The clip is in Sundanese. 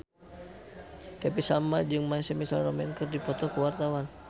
Happy Salma jeung My Chemical Romance keur dipoto ku wartawan